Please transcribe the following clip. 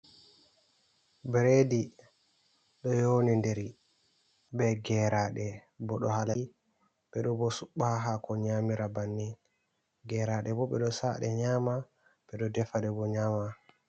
Bredi, ɗo yonindiri be geraɗe bo ɗo halal. Ɓe ɗo bo suɓɓa ha hako nyamira banni. Geraɗe bo ɓe ɗo sa'a ɗe nyama, ɓe ɗo defaɗe bo nyama.